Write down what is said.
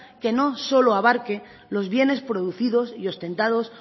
que no solo abarque los bienes producidos y ostentados